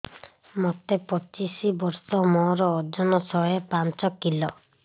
ମୋତେ ପଚିଶି ବର୍ଷ ମୋର ଓଜନ ଶହେ ପାଞ୍ଚ କିଲୋ